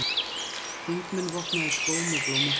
Þingmenn vopnaðir skóm og blómapottum